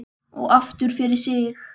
Og aftur fyrir sig.